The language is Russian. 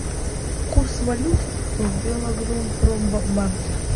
курс валют в белагропромбанке